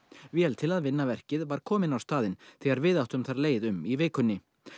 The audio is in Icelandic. vél til að vinna verkið var komin á staðinn þegar við áttum þar leið um í vikunni